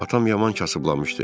Atam yaman kasıblamışdı.